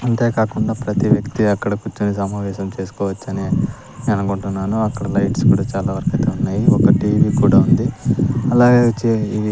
అంతేకాకుండా ప్రతి వ్యక్తి అక్కడ కూర్చుని సమావేశం చేసుకోవచ్చని అనుకుంటున్నాను అక్కడ లైట్స్ కూడా చాలా వరకైతే ఉన్నాయి ఒక టీవీ కూడా ఉంది అలాగే చే ఇవి--